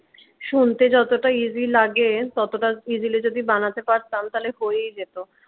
শুনতে যতটা easy লাগে ততটা easily যদি বানাতে পারতাম তাহলে হয়েই যেত।